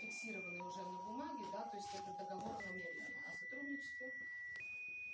бумаги да то есть это договор намеренно сотру